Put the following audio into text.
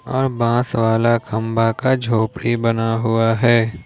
और बांस वाला खंभा का झोपड़ी बना हुआ है।